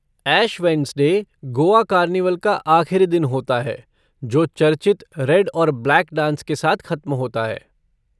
ऐश Wednesday Goa carnival का आख़िरी दिन होता है जो चर्चित रेड और ब्लैक डांस के साथ ख़त्म होता है।